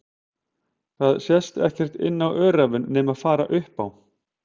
Og það sást ekkert inn á öræfin nema fara upp á